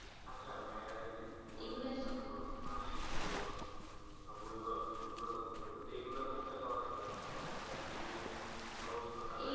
আচ্ছা magazine তারপর মাসিক অনেক বইগুলোর কথা বললেন তো এগুলা কোথায় পাওয়া যাবে? আসলে আমি এর আগে আর কিনি নাই আমার অভিজ্ঞতা নাই।